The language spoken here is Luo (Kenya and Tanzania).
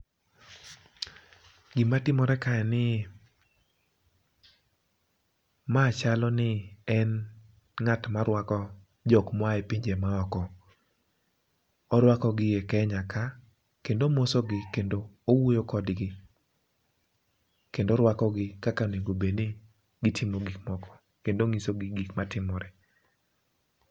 gima timore ka en ni ma chalo ni en ma en ng'at marwako jok mo a e pinje maoko. Orwako gi e Kenya ka kendo omosi gi kendo owuoyo kodgi kendo orwako gi kaka onego bed ni gitimo gik moko, kendo onyiso gi gik matimore.